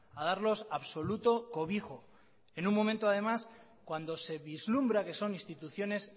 a darlos absoluto cobijo en un momento además cuando se vislumbra que son instituciones